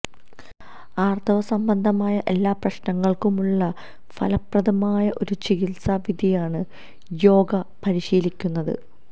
ആർത്തവ സംബന്ധമായ എല്ലാ പ്രശ്നങ്ങൾക്കുമുള്ള ഫലപ്രദമായ ഒരു ചികിത്സാ വിധിയാണ് യോഗ പരിശീലിക്കുന്നത്